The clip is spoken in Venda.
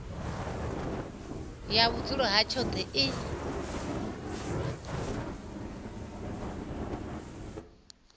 ya vhudzulo ha tshoṱhe i